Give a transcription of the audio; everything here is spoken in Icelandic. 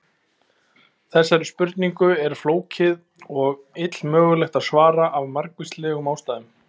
Þessari spurningu er flókið og illmögulegt að svara af margvíslegum ástæðum.